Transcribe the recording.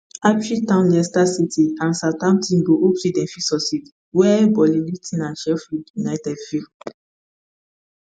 ipswich town leicester city and southampton go hope say dem fit succeed wia burnley luton and sheffield united fail